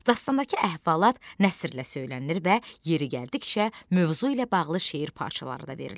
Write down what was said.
Dastandakı əhvalat nəsrlə söylənilir və yeri gəldikcə mövzu ilə bağlı şeir parçaları da verilir.